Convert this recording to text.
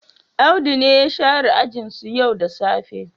Audu ne ya share ajinsu yau da safe.